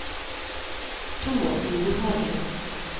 Thomas Nordhagen